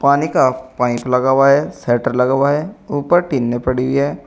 पानी का पाइप लगा हुआ है शटर लगा है ऊपर टीने पड़ी है।